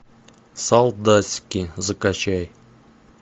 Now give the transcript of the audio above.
солдатики закачай